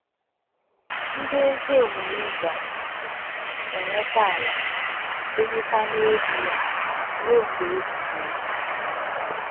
Ndị ezi omume ga - enweta ala, birikwa n’elu ya ruo mgbe ebighi ebi. ”